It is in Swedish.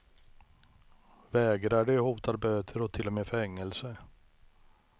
Vägrar de hotar böter och till och med fängelse.